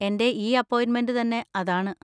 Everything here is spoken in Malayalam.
എൻ്റെ ഈ അപ്പോയിന്‍മെന്‍റ് തന്നെ അതാണ്.